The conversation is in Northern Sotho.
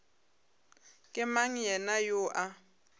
ke mang yena yoo a